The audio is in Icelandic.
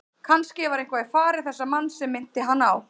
Kannske var eitthvað í fari þessa manns sem minnti hann á